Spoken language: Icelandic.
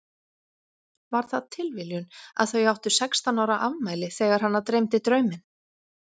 Var það tilviljun að þau áttu sextán ára afmæli þegar hana dreymdi drauminn?